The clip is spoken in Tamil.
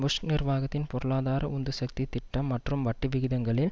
புஷ் நிர்வாகத்தின் பொருளாதார உந்து சக்தி திட்டம் மற்றும் வட்டி விகிதங்களில்